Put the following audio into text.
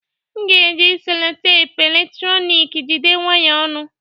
M ga-eji cellotape eletrọnịkị jide wires ọnụ